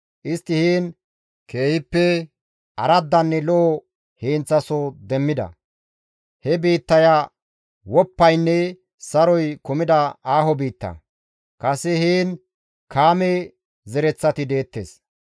Istti heen keehippe araddanne lo7o heenththasoho demmida; he biittaya woppaynne saroy kumida aaho biitta; kase heen Kaame zereththati deettes.